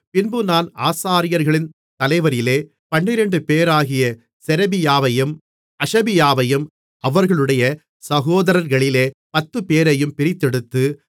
பின்பு நான் ஆசாரியர்களின் தலைவரிலே பன்னிரண்டுபேராகிய செரெபியாவையும் அஷபியாவையும் அவர்களுடைய சகோதரர்களிலே பத்துப்பேரையும் பிரித்தெடுத்து